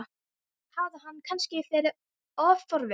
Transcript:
Hafði hann kannski verið of forvitin?